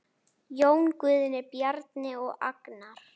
Jón Guðni, Bjarni og Agnar.